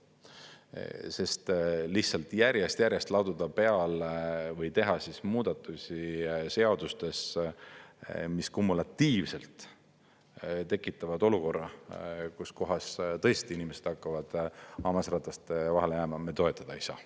Sest lihtsalt järjest-järjest laduda peale või teha muudatusi seadustes, mis kumulatiivselt tekitavad olukorra, kuskohas tõesti inimesed hakkavad hammasrataste vahele jääma, me toetada ei saa.